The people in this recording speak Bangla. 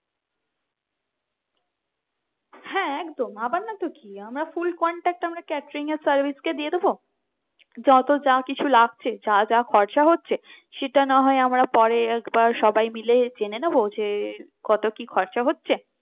হ্যাঁ একদম আবার না তো কি আমরা full contract আমরা catering এর service কে দিয়ে দেব যত যা কিছু লাগছে যা যা খরচা হচ্ছে সেটা না হয় আমরা পরে একবার সবাই মিলে জেনে নেব যে কত কি খরচা হচ্ছে